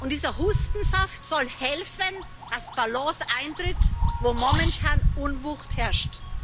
Dieser Hustensaft soll helfen, dass Balance eintritt, wo momentan Unwucht herrscht.